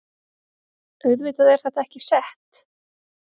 Auðvitað er þetta ekki sett